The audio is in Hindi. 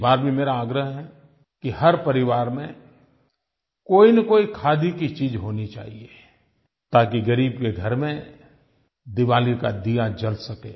इस बार भी मेरा आग्रह है कि हर परिवार में कोईनकोई खादी की चीज़ होनी चाहिये ताकि ग़रीब के घर में दीवाली का दिया जल सके